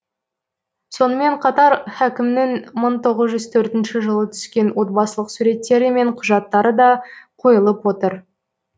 сонымен қатар хакімнің мың тоғыз жүз төртінші жылы түскен отбасылық суреттері мен құжаттары да қойылып отыр